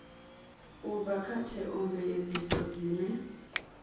u bva kha theomveledziso dzine